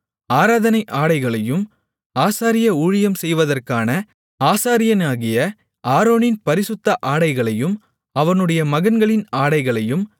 ஆராதனை ஆடைகளையும் ஆசாரிய ஊழியம் செய்வதற்கான ஆசாரியனாகிய ஆரோனின் பரிசுத்த ஆடைகளையும் அவனுடைய மகன்களின் ஆடைகளையும்